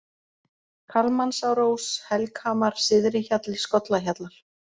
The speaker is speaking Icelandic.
Kalmansárós, Helghamar, Syðri-Hjalli, Skollahjallar